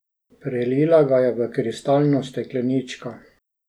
Prelila ga je v kristalno stekleničko.